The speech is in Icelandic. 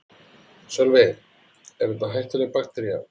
Sölvi: Er þetta hættuleg baktería?